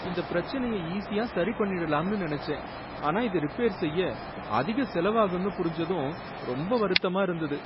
இந்த பிரச்சனைய ஈஸியா சரி பண்ணிடலாம்னு நினைச்சேன், ஆனா இத ரிப்பேர் செய்ய அதிக செலவாகும்னு புரிஞ்சதும் ரொம்ப வருத்தமா இருந்தது.